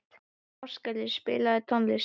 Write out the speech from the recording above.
Ástgerður, spilaðu tónlist.